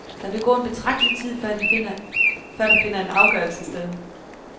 Der vil gå en betragtelig tid, før der finder en afgørelse sted.